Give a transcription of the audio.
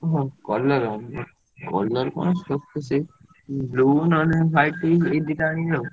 ଓଃ colour colour କଣ ସବୁ ତ ସେଇ blue ନହେଲେ white ଏଇ ଦିଟାରୁ ଆଣିବି ଆଉ।